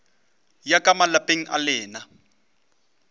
ya ka malapeng a lena